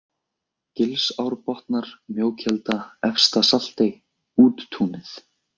Gilsárbotnar, Mjókelda, Efsta-Saltey, Úttúnið